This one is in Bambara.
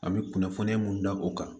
A bɛ kunnafoniya mun di o kan